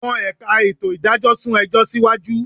Àwọn ẹ̀ka ètò ìdájọ́ sún ẹjọ́ síwájú